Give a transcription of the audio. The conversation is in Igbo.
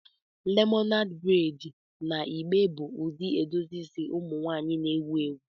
Lemonad braids na igbe igbe bụ ụdị edozi isi ụmụ nwanyị na-ewu ewu.